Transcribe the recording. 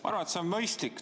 Ma arvan, et see on mõistlik.